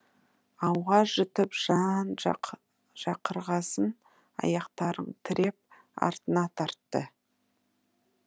ауа жұтып жан шақырғасын аяқтарын тіреп артына тартты